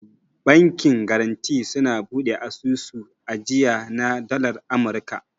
Bankin garanti suna bude asusun ajiya na dalar amurka.